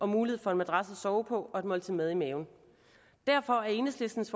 mulighed for en madras at sove på og et måltid mad i maven derfor er enhedslistens